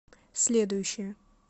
следующая